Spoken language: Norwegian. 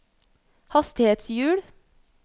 hastighetshjul